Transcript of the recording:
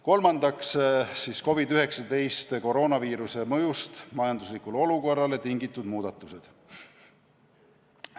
Kolmandaks on COVID-19 mõjust majanduslikule olukorrale tingitud muudatused.